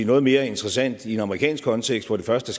noget mere interessant i en amerikansk kontekst hvor det første